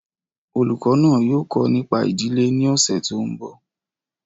Olùkọ́ náà yóò kọ́ nípa ìdílé ní ọ̀sẹ̀ tó ń bọ̀